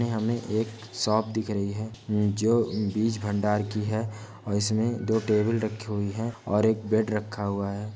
यह हमे एक शॉप दिख रही है जो बीज भंडार की है और इसमे दो टेबल रखे हुइ हैं ओर एक बेड रखा हुआ है।